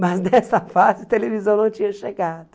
Mas, nessa fase, a televisão não tinha chegado.